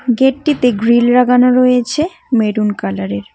গেটটিতে grill লাগানো রয়েছে maroon কালারের।